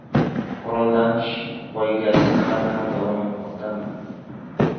Qurollanish poygasi hali ham davom etmoqdami?.